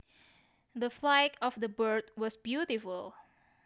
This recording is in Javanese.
The flight of the bird was beautiful